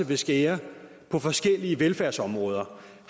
vil skære på forskellige velfærdsområder